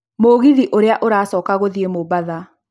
mũgithi Ũrĩa ũracoka gũthiĩ mombatha